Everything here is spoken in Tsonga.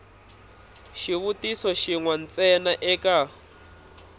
xivutiso xin we ntsena eka